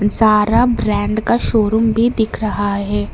सारा ब्रांड का शोरूम भी दिख रहा है।